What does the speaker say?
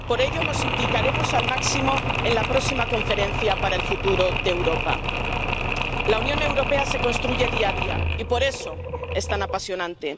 Por ello, nos implicaremos al máximo en la próxima Conferencia sobre el Futuro de Europa. La Unión Europea se construye día a día, y por eso es tan apasionante.